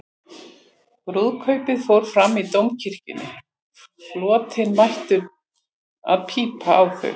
Brúðkaupið fór fram í Dómkirkjunni, flotinn mættur til að pípa á þau.